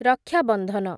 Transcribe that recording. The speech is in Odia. ରକ୍ଷା ବନ୍ଧନ